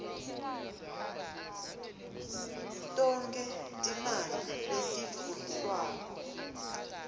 tonkhe timali letidvonswako